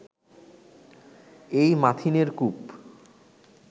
এই মাথিনের কূপ